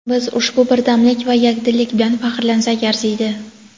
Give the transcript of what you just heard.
Biz ushbu birdamlik va yakdillik bilan faxrlansak arziydi.